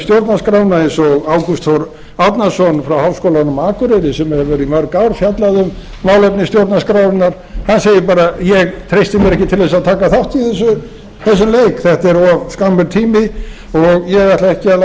stjórnarskrána eins og ágúst þór árnason frá háskólanum á akureyri sem hefur í mörg ár fjallað um málefni stjórnarskrárinnar hann segir bara ég treysti mér ekki til þess að taka þátt í þessum leik þetta er of skammur tími og ég ætla ekki að